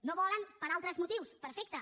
no ho volen per altres motius perfecte